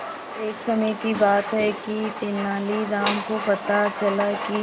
एक समय की बात है कि तेनालीराम को पता चला कि